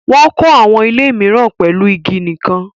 Wọ́n kọ́ àwọn ilé mìíràn pẹ̀lú igi nìkan.